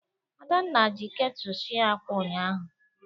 Adanna ji ketu sie ákwà ụnyahụ.